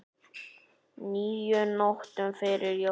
níu nóttum fyrir jól